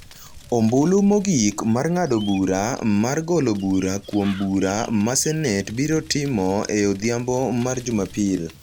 Ombulu mogik mar ng’ado bura mar golo bura kuom bura ma Senate biro timo e odhiambo mar jumapil.